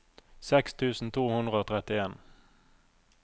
seks tusen to hundre og trettien